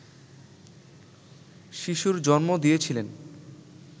শিশুর জন্ম দিয়েছিলেন